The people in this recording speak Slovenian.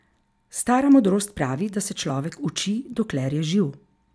Stara modrost pravi, da se človek uči, dokler je živ.